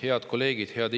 Head kolleegid!